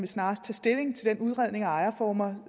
snarest tage stilling til den udredning af ejerformer